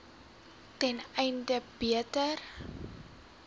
ten einde beter